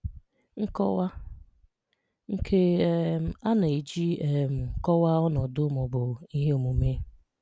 Nkọwa: Nke a um na-eji um kọwaa ọnọdụ ma ọ bụ ihe omume.